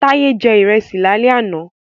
Taye jẹ ìrẹsì lálẹ́ àná